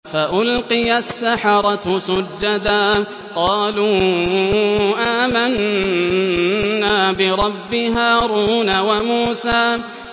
فَأُلْقِيَ السَّحَرَةُ سُجَّدًا قَالُوا آمَنَّا بِرَبِّ هَارُونَ وَمُوسَىٰ